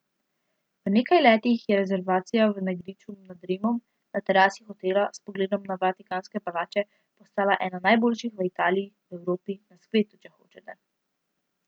V nekaj letih je restavracija na griču nad Rimom, na terasi hotela, s pogledom na vatikanske palače, postala ena najboljših v Italiji, v Evropi, na svetu, če hočete.